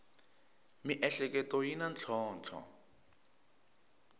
miehleketo yi na ntlhontlho